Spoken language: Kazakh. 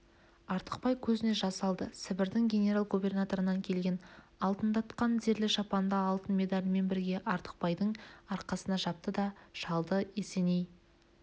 артықбай көзіне жас алды сібірдің генерал-губернаторынан келген алтындатқан зерлі шапанды алтын медалімен бірге артықбайдың арқасына жапты да шалды есеней